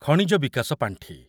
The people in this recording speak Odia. ଖଣିଜ ବିକାଶ ପାଣ୍ଠି